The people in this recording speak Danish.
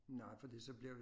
Nej fordi så bliver vi